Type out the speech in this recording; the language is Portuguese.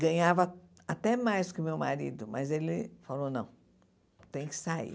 Ganhava até mais que o meu marido, mas ele falou, não, tem que sair.